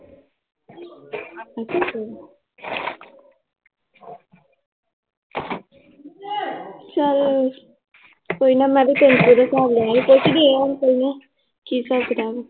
ਚੱਲ ਕੋਈ ਨਾ ਮੈ ਵੀ ਤਿੰਨ ਵਾਰੀ ਹਿਸਾਬ ਲਊਗੀ ਕੀ ਹਿਸਾਬ ਕਿਤਾਬ ਆ l